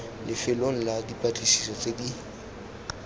lefelong la dipatlisiso tse di